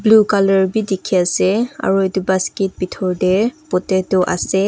blue colour bhi dekhey ase aro etu basket pethor dae potato ase.